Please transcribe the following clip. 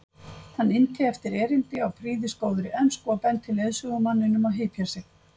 Hann innti eftir erindi á prýðisgóðri ensku og benti leiðsögumanninum að hypja sig.